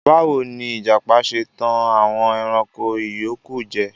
Bawo ni ijapa ṣe tan awọn ẹranko iyoku jẹ?